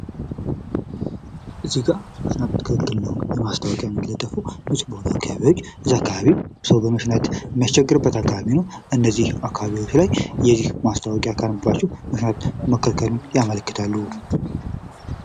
እዚህ ጋር መሽናት ክልክል ነው የማስታወቂያ የሚለፉ እዚህ አካባቢ ሰው በሽታ የሚያስቸግርበት አካባቢ ነው እነዚህ አካባቢዎች ላይ የዚህ ማስታወቂያ ካነበባቸው መሽናት መከልከሉን ያመለክታሉ።